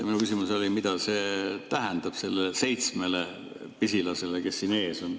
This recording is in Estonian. Mu küsimus oli, mida see tähendab sellele seitsmele pisilasele, kes siin ees on.